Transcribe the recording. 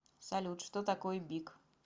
салют что такое бик